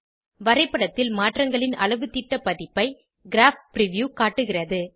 வரைப்படத்தில் மாற்றங்களின் அளவுத்திட்ட பதிப்பை கிராப் பிரிவ்யூ காட்டுகிறது